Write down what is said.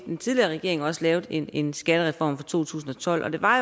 en tidligere regering også lavede en en skattereform i to tusind og tolv og det var